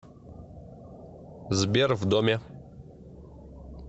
сбер в доме